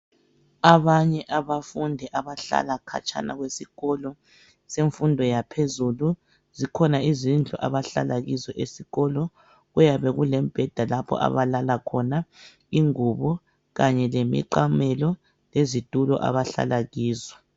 abanye abafundi abahlala khatshana kwesikolo semfundo yaphezulu zikhona izindlu abahlala kuzo esikolo kuyabe kulemibheda lapho abalala khona ingubo kanye lemiqamelo lezitulo abahlala kizo